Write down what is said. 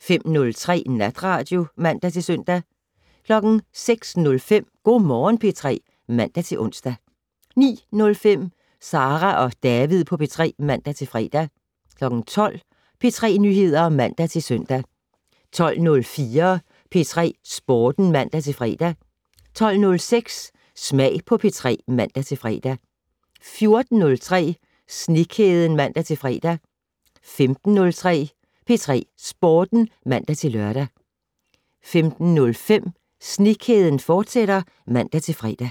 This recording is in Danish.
05:03: Natradio (man-søn) 06:05: Go' Morgen P3 (man-ons) 09:05: Sara og David på P3 (man-fre) 12:00: P3 Nyheder (man-søn) 12:04: P3 Sporten (man-fre) 12:06: Smag på P3 (man-fre) 14:03: Snekæden (man-fre) 15:03: P3 Sporten (man-lør) 15:05: Snekæden, fortsat (man-fre)